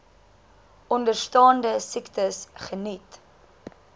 onderstaande siektes geniet